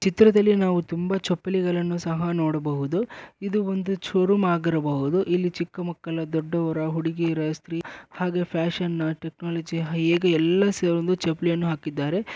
ಚಿತ್ರದಲ್ಲಿ ನಾವು ತುಂಬಾ ಚಪ್ಪಲಿಗಳನ್ನು ಸಹ ನೋಡಬಹುದು ಇದು ಒಂದು ಶೋರೂಮ್ ಆಗಿರಬಹುದು ಇಲ್ಲಿ ಚಿಕ್ಕ ಮಕ್ಕಳ ದೊಡ್ಡವರ ಹುಡುಗಿಯರ ಸ್ತ್ರೀಯರ ಹಾಗೆ ಫ್ಯಾಷನ್ ಟೆಚ್ನೊಲೊಜಿ ಈ ಈಗ ಎಲ್ಲಾ ಸೆ ಒಂದು ಚಪ್ಪಲಿಯನ್ನು ಹಾಕಿದ್ದಾರೆ.